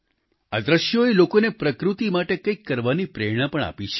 આ દ્રશ્યોએ લોકોને પ્રકૃતિ માટે કંઈક કરવાની પ્રેરણા પણ આપી છે